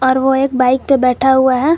और वह एक बाइक पर बैठा हुआ है।